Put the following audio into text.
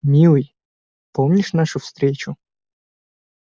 милый помнишь нашу встречу